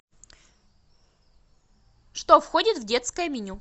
что входит в детское меню